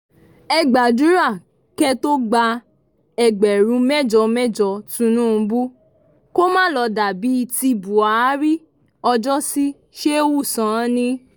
ẹ gbàdúrà kẹ́ ẹ tó gba ẹgbẹ̀rún mẹ́jọ mẹ́jọ Tìnùbù kó má lọ́ọ dà bíi ti Buhari ọjọ́sí Shehu Sani